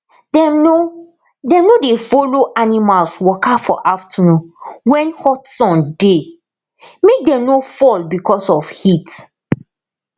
dem no dem no dey follow animals waka for afternoon when hot sun dey make dem no fall because of heat